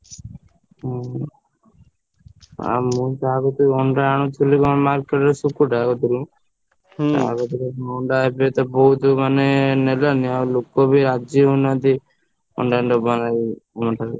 ହୁଁ। ଆଉ ମୁଁ ଯାହା କତିରୁ ଅଣ୍ଡା ଆଣୁଥିଲି କଣ market ସୁକୁଟା କତିରୁ ତା କତିରୁ ଏବେ ଅଣ୍ଡା ଏବେତ ବହୁତ୍ ମାନେ ନେଲେନି ଆଉ ଲୋକବି ରାଜି ହଉନାହାନ୍ତି। ଅଣ୍ଡା ନେବା ଲାଗି ମୋ ଠାରୁ।